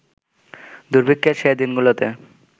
দুর্ভিক্ষের সে দিনগুলোতে